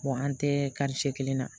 an tɛ karice kelen na